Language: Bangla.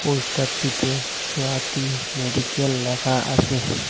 পোস্টারটিতে সোয়াতি মেডিকেল লেখা আসে ।